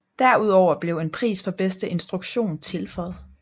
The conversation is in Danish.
Derudover blev en pris for bedste instruktion tilføjet